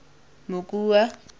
mokua